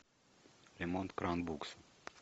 ремонт кран букс